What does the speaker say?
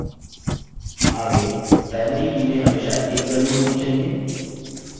आगे primary की में हमेशा एक value होनी चाहिए